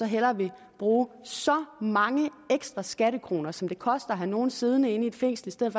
hellere vil bruge så mange ekstra skattekroner som det koster at have nogen siddende i et fængsel i stedet